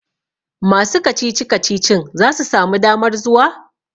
masu kacici-kacicin za su sami damar zuwa?